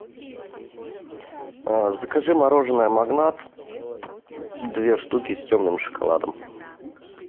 закажи мороженое магнат две штуки с темным шоколадом